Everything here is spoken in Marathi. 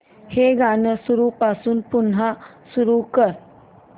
हे गाणं सुरूपासून पुन्हा सुरू कर